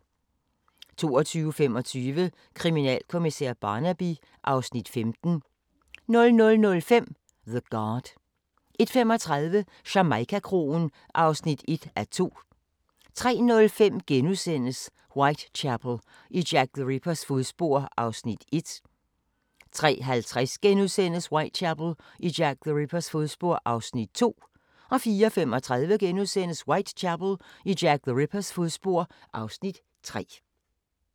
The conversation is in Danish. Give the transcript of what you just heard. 22:25: Kriminalkommissær Barnaby (Afs. 15) 00:05: The Guard 01:35: Jamaica-kroen (1:2) 03:05: Whitechapel: I Jack the Rippers fodspor (Afs. 1)* 03:50: Whitechapel: I Jack the Rippers fodspor (Afs. 2)* 04:35: Whitechapel: I Jack the Rippers fodspor (Afs. 3)*